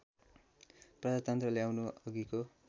प्रजातन्त्र ल्याउनु अघिको